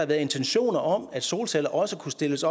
været intentioner om at solceller også kunne stilles